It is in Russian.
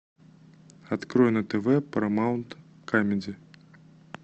открой на тв парамаунт камеди